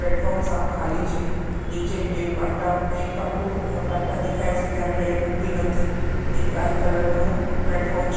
Platform સાવ ખાલી છે નીચે બે પાટા એક પાટો પાટા દેખાય છે જ્યાં ટ્રેન ઉભી નથી એક લાલ કલર નું પ્લેટફોર્મ છે.